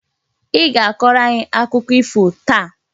I ga-akọrọ anyị akụkọ ifo taa!